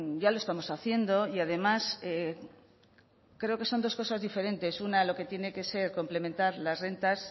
ya lo estamos haciendo y además creo que son dos cosas diferentes una lo que tiene que ser complementar las rentas